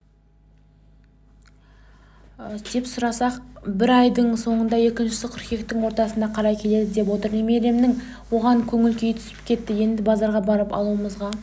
деп сұрасақ бірі айдың соңында екіншісі қыркүйектің ортасына қарай келеді деп отыр немеремнің оған көңіл-күйі түсіп кетті енді базарға барып алуымызға